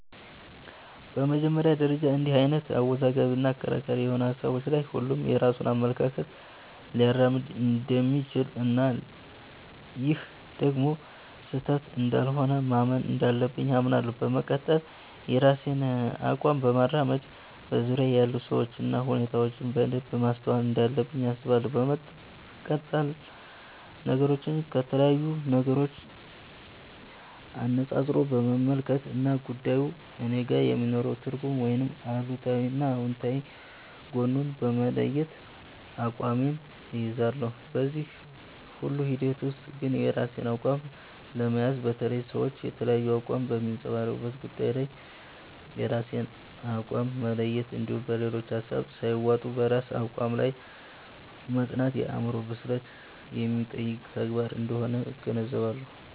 በመጀመሪያ ደረጃ እንድህ አይነት አወዛጋቢ እና አከራካሪ የሆኑ ሀሳቦች ላይ ሁሉም የራሱን አመለካከት ሊያራምድ እንደሚችል እና ይህም ደግሞ ስህተት እንዳልሆነ ማመን እንዳለብኝ አምናለሁ። በመቀጠል የራሴን አቋም ለማራመድ በዙርያየ ያሉ ሰዎችን እና ሁኔታዎችን በደንብ ማስተዋል እንዳለብኝ አስባለሁ። በመቀጠልም ነገሮችን ከተለያዩ አንፃሮች በመመልከት እና ጉዳዩ እኔጋ የሚኖረውን ትርጉም ወይም አሉታዊ እና አውንታዊ ጎኑን በመለየት አቋሜን እይዛለሁ። በዚህ ሁሉ ሂደት ውስጥ ግን የራስን አቋም ለመያዝ፣ በተለይ ሰዎች የተለያየ አቋም በሚያንፀባርቁበት ጉዳይ ላይ የራስን አቋም መለየት እንድሁም በሌሎች ሀሳብ ሳይዋጡ በራስ አቋም ላይ መፅናት የአዕምሮ ብስለት የሚጠይቅ ተግባር አንደሆነ እገነዘባለሁ።